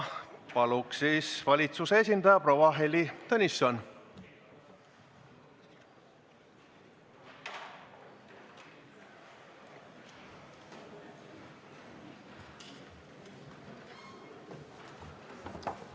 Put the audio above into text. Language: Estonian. Palun, valitsuse esindaja proua Heili Tõnisson!